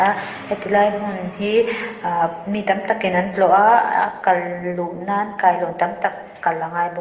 heti lai hmun hi ah mi tam takin an tlawh a a kal luh nan kailawn tam tak kal angai bawk.